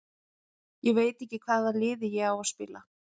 Ég veit ekki hvaða liði ég á að spila.